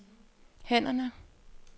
hænderne